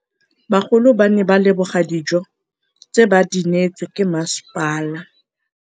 Bagolo ba ne ba leboga dijô tse ba do neêtswe ke masepala.